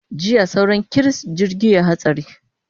Jiya sauran kiris jirgi ya yi hatsari.